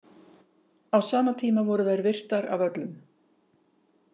Á sama tíma voru þær virtar af öllum.